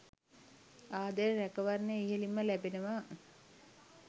ආදරය රැකවරණය ඉහළින්ම ලැබෙනවා.